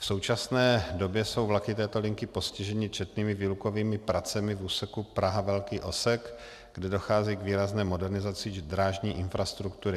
V současné době jsou vlaky této linky postiženy četnými výlukovými pracemi v úseku Praha - Velký Osek, kdy dochází k výrazné modernizaci drážní infrastruktury.